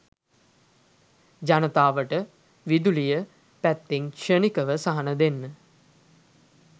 ජනතාවට විදුලිය පැත්තෙන් ක්ෂණිකව සහන දෙන්න